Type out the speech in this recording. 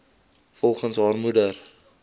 volgens haar moeder